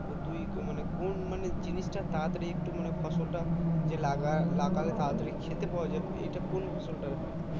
তা তুই মানে জিনিসটা তারা তারই একটু মানে ফসলটা যে লাগা লাগালে তাড়াতাড়ি খেতে পাওয়া যাবে এটা কোন ফসল তা হয় ।